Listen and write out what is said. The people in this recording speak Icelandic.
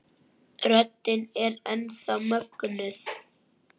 Röddin er enn þá mögnuð.